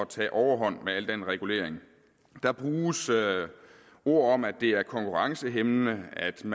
tage overhånd med al den regulering der bruges ord om at det er konkurrencehæmmende at der